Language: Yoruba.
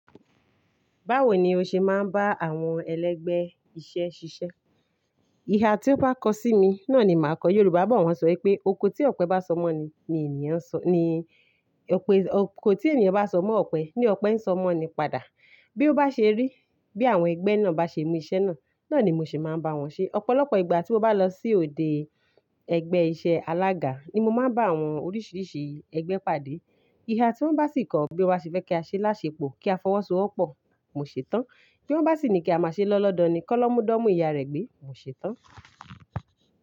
Báwo ni o ṣe máa ń bá àwọn ẹlẹgbẹ́ iṣẹ́ ṣiṣẹ́? Ìha tí ó bá kọ sí mi náà ni màá kọ. Yorùbá bọ̀ wọ́n ṣọ wipé oko tí ọ̀pẹ bá sọ mọ́ni, ni ènìyàn ń sọ, ni ọ̀pẹ, oko tí ènìyàn bá sọ mọ́ ọ̀pẹ, ní ọ̀pẹ ń sọ mọ́ ni padà. Bí ó bá ṣe rí, bí àwọn ẹgbẹ́ náà bá ṣe mú iṣẹ́ náà, náà ni mo ṣe máa ń bá wọn ṣe. Ọ̀pọ̀lọpọ̀ ìgbà tí mo bá lọ sí òde ẹgbẹ́ iṣẹ́ alága ni mo máa ń bá àwọn oríṣiríṣi ẹgbẹ́ pàdé. Ìha tí wọ́n bá sì kọ̀ bí won ba ṣe fẹ́ kí a ṣe láṣepọ̀ kí a fọwọ́sowọ́pọ̀, mo ṣe tán. Tí wọ́n bá sì ní kí a má ṣe lọ́lọ́dọ̀ ni, kọ́ lọ́ mú dọ́mú ìyá rẹ gbé, mo ṣe tán.